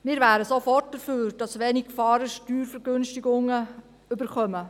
Wir wären sofort dafür, dass Wenigfahrende Steuervergünstigungen erhalten.